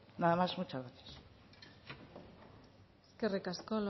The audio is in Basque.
nada más muchas gracias eskerrik asko